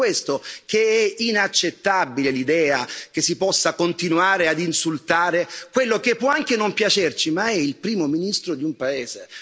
Ed è per questo che è inaccettabile l'idea che si possa continuare ad insultare quello che può anche non piacerci, ma è il Primo ministro di un paese.